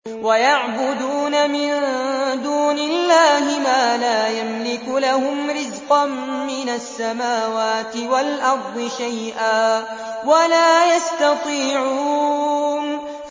وَيَعْبُدُونَ مِن دُونِ اللَّهِ مَا لَا يَمْلِكُ لَهُمْ رِزْقًا مِّنَ السَّمَاوَاتِ وَالْأَرْضِ شَيْئًا وَلَا يَسْتَطِيعُونَ